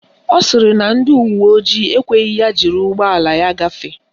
Ọ sịrị na ndị uwe ojii ekweghị ya jiri ụgbọala ya gafee.